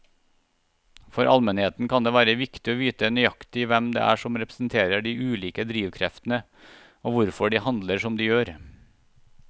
For allmennheten kan det være viktig å vite nøyaktig hvem det er som representerer de ulike drivkreftene og hvorfor de handler som de gjør.